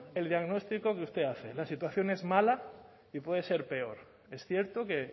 el diagnóstico que usted hace la situación es mala y puede ser peor es cierto que